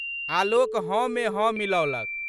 आलोक हँ मे हँ मिलओलक।